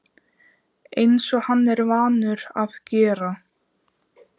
Eins og hann er vanur að gera.